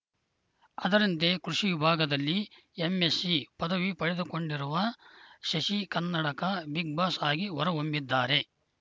ಅದರಂತೆ ಕೃಷಿ ವಿಭಾಗದಲ್ಲಿ ಎಂಎಸ್ಸಿ ಪದವಿ ಪಡೆದುಕೊಂಡಿರುವ ಶಶಿ ಕನ್ನಡಕ ಬಿಗ್‌ ಬಾಸ್‌ ಆಗಿ ಹೊರ ಹೊಮ್ಮಿದ್ದಾರೆ